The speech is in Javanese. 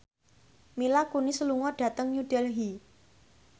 Mila Kunis lunga dhateng New Delhi